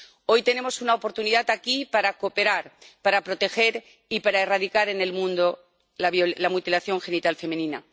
Hoy tenemos una oportunidad aquí para cooperar, para proteger y para erradicar en el mundo la mutilación genital femenina.